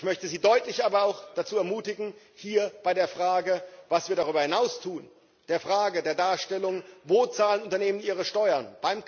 Ich möchte sie aber auch deutlich dazu ermutigen, bei der Frage, was wir darüber hinaus tun, der Frage der Darstellung wo zahlen Unternehmen ihre Steuern?